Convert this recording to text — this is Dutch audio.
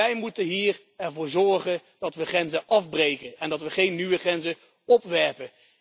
Wij moeten er hier voor zorgen dat we grenzen afbreken en dat we geen nieuwe grenzen opwerpen.